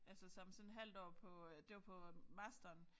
Altså som sådan halvt år på øh det var på masteren